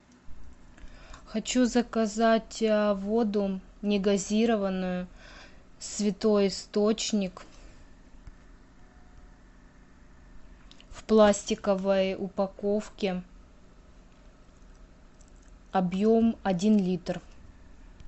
хочу заказать воду негазированную святой источник в пластиковой упаковке объем один литр